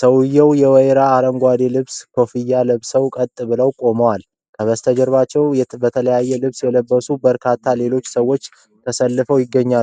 ሰውየው የወይራ አረንጓዴ ልብስና ኮፍያ ለብሶ ቀጥ ብሎ ቆሟል። ከበስተጀርባው በተለያየ ልብስ የለበሱ ሌሎች በርካታ ሰዎች ተሰልፈው ይገኛሉ።